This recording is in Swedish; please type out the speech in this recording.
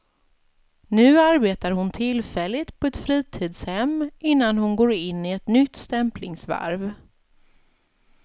Nu arbetar hon tillfälligt på ett fritidshem innan hon går in i ett nytt stämplingsvarv.